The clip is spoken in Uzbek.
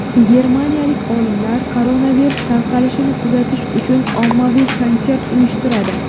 Germaniyalik olimlar koronavirus tarqalishini kuzatish uchun ommaviy konsert uyushtiradi.